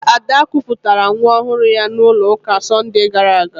Ada kụpụtara nwa ọhụrụ ya n'ụlọ ụka n'Sọnde gara aga